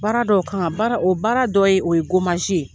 Baara dɔw kan baara o baara dɔ ye o ye ye